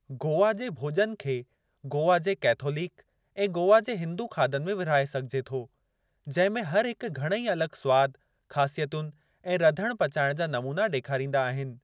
गोवा जे भोज॒न खे गोवा जे कैथोलिक ऐं गोवा जे हिंदू खाधनि में विर्हाए सघिजे थो, जिंहिं में हर हिकु घणेई अलगि॒ स्वाद, ख़ासियतुनि ऐं रधणु पचाइणु जा नमूना डे॒खारींदा आहिनि।